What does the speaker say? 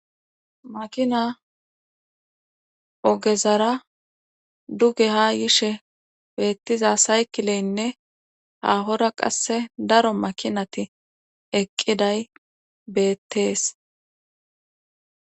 Makina ogezara duge ha yishe beettiza saykileynne haahora qasse daro makinati eqqiday beettees.